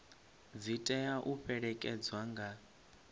dzi tea u fhelekedzwa nga